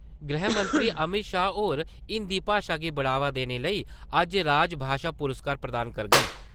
गृहमंत्री अमित शाह होर हिन्दी भाशा गी बढ़ावा देने लेई अज्ज राज भाशा पुरस्कार प्रदान करोग।